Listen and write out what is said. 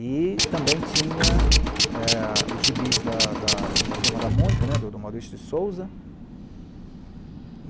E também tinha eh, os gibis da da da turma da Mônica, do Maurício de Souza.